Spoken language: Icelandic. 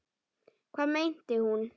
Hvað meinti hún?